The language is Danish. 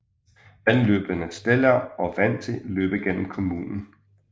Vandløbene Stellau og Wandse løber gennem kommunen